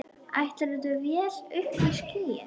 Áætluð vél uppí skýjum.